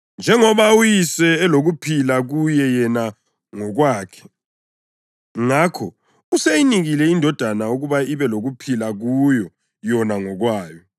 Njengoba uYise elokuphila kuye yena ngokwakhe, ngakho useyinikile iNdodana ukuba ibe lokuphila kuyo yona ngokwayo.